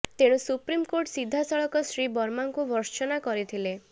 ତେଣୁ ସୁପ୍ରିମକୋର୍ଟ ସିଧା ସଳଖ ଶ୍ରୀ ବର୍ମାଙ୍କୁ ଭର୍ତ୍ସନା କରିଥିଲେ